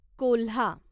कोल्हा